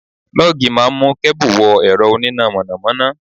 Lọ́gì máa ń mú kẹ́bù wọ ẹ̀rọ oníná mọ̀nàmọ́ná.